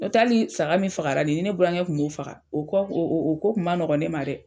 N'o tɛ hali saga min fagara nin, ni ne burankɛ tun b'o faga, o kɔ o ko tun ma nɔgɔn ne ma dɛ.